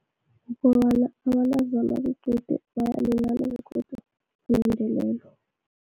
Kukobana abantazana bequde bayalimala begodu